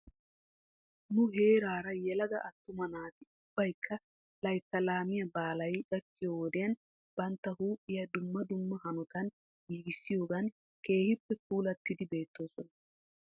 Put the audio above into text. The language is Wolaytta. Nu heeraara yelaga attuma naati ubbaykka laytta laamiyaa baalay gakkiyoo wodiyan bantta huuphiya dumma dumma hanotan giigissiyoogan keehippe puulattidi beettoosona.